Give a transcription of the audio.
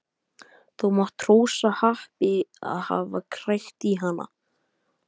Þú mátt hrósa happi að hafa krækt í hana.